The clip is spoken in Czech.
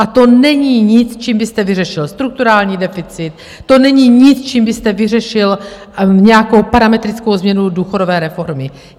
A to není nic, čím byste vyřešil strukturální deficit, to není nic, čím byste vyřešil nějakou parametrickou změnu důchodové reformy.